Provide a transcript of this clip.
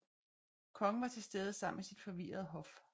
Kongen var tilstede sammen med sit forvirrede hof